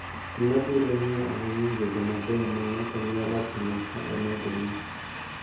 Ma biro ng`iyo ahinya gigo mabeyo ma ng`ato nyalo timo ka omedo ni